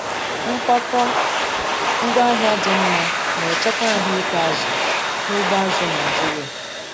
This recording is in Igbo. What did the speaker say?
Nkwakọ ngwaahịa dị mma na-echekwa ahụike azụ n'ugbo azụ̀ Naịjiria.